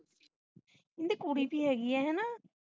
ਨਿ ਕੁੜੀ ਜਿਹੀ ਹੋ ਗਈ ਹੈ ਨਾ